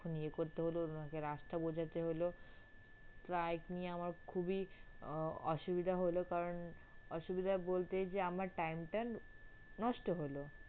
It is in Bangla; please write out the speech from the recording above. ক্ষন ইয়ে করতে হল ওনাকে রাস্তা বোঝাতে হল প্রায় এই নিয়ে আমার খুবই অসুবিধা হল কারণ অসুবিধা বলতে যে আমার time টা নষ্ট হল।